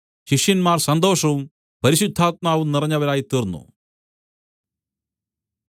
ശിഷ്യന്മാർ സന്തോഷവും പരിശുദ്ധാത്മാവും നിറഞ്ഞവരായിത്തീർന്നു